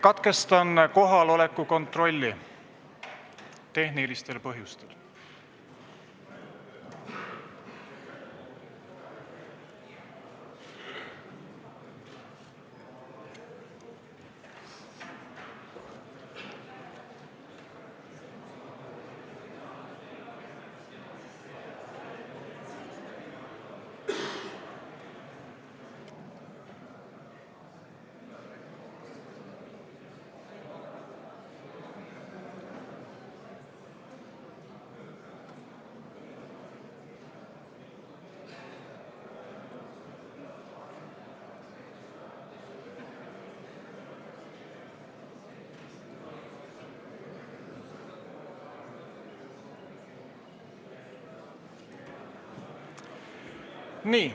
Katkestan kohaloleku kontrolli tehnilistel põhjustel.